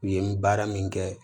U ye n baara min kɛ